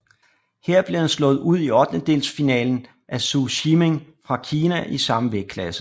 Her blev han slået ud i ottendelsfinalen af Zou Shiming fra Kina i samme vægtklasse